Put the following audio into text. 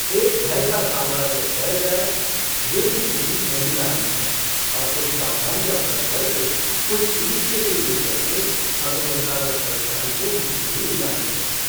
एक भय का साम्राज्य फैल जाए ये भी स्थिति नहीं लानी है और कुछ सावधानियां बरत कर, कुछ इनिशिएटिव ले करके हमें जनता को परेशानी से मुक्ति भी दिलानी है।